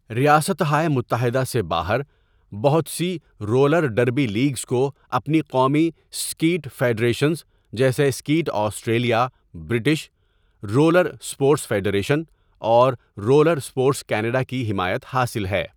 ریاستہائے متحدہ سے باہر، بہت سی رولر ڈربی لیگز کو اپنی قومی سکیٹ فیڈریشنز، جیسے skate Australia, British roller sports federation, اور رولر اسپورٹس کینیڈا کی حمایت حاصل ہے۔